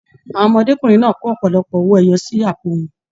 Àwọn ọmọdékunrin náà kò ọpọlọpọ owó ẹyọ sí àpò wọn.